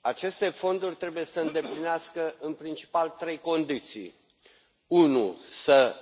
Aceste fonduri trebuie să îndeplinească, în principal, trei condiții să